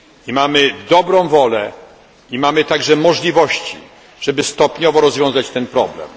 Mamy dobrą wolę, a także możliwości, żeby stopniowo rozwiązać ten problem.